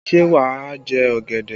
Ṣé wà á jẹ ọ̀gẹ̀dẹ̀?